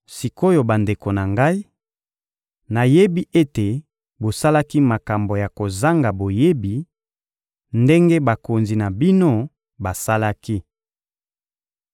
Sik’oyo bandeko na ngai, nayebi ete bosalaki makambo na kozanga boyebi, ndenge bakonzi na bino basalaki.